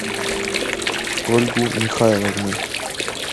ольгу михайловну